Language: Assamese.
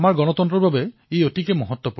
এওঁলোকে এতিয়া স্থানীয় লোকৰ পৰাও সহায় লাভ কৰিছে